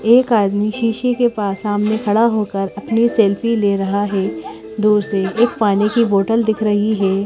एक आदमी शीशे के पास सामने खड़ा होकर अपनी सेल्फी ले रहा है दूर से एक पानी की बॉटल दिख रही है।